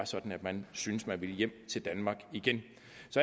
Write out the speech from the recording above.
sådan at man synes man vil hjem til danmark igen